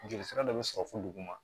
Joli sira dɔ bɛ sɔrɔ fo duguma